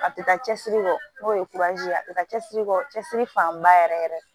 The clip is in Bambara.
A tɛ taa cɛsiri kɔ n'o ye ye a tɛ taa cɛsiri kɔ cɛsiri fanba yɛrɛ yɛrɛ